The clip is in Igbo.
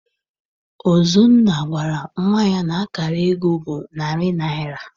Ọzọnna gwara nnwa ya na akara akpa ego bụ narị naịra.